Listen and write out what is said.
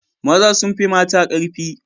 Maza sun fi mata karfi